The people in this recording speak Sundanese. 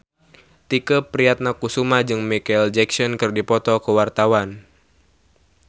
Tike Priatnakusuma jeung Micheal Jackson keur dipoto ku wartawan